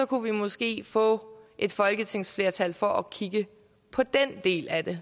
kunne vi måske få et folketingsflertal for at kigge på den del af det